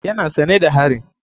Yana sane da harin.